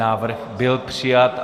Návrh byl přijat.